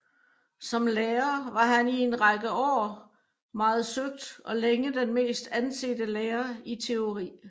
Som lærer var han i en række år meget søgt og længe den mest ansete lærer i teori